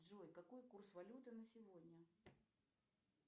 джой какой курс валюты на сегодня